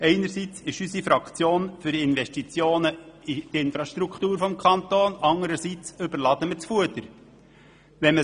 Einerseits ist unsere Fraktion für Investitionen in die Infrastrukturen des Kantons Bern, anderseits wird damit das Fuder überladen.